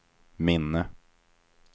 minne